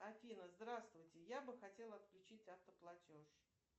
афина здравствуйте я бы хотела отключить автоплатеж